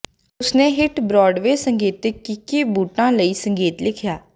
ਉਸਨੇ hit Broadway ਸੰਗੀਤਿਕ ਕਿੱਕੀ ਬੂਟਾਂ ਲਈ ਸੰਗੀਤ ਲਿਖਿਆ